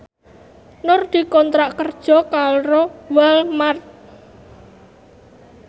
Nur dikontrak kerja karo Walmart